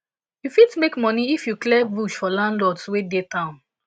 you fit make money if you clear bush for landlords wey dey town